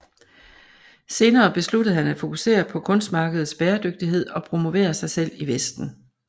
Senere besluttede han at fokusere på kunstmarkedets bæredygtighed og promovere sig selv i vesten